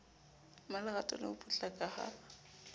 mmalerato le ho potlaka ha